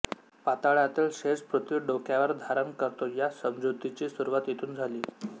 पाताळातील शेष पृथ्वी डोक्यावर धारण करतो या समजुतीची सुरवात येथून झाली